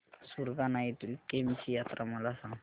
सुरगाणा येथील केम्ब ची यात्रा मला सांग